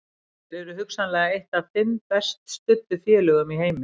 Þeir eru hugsanlega eitt af fimm best studdu félögum í heimi.